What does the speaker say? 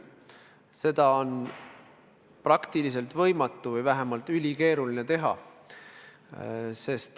Seda on praktiliselt võimatu või vähemalt ülikeeruline teha.